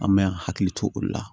An bɛ an hakili to olu la